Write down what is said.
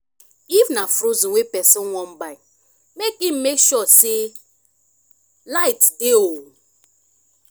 if na frozen wey persin wan buy make im make sure say light dey o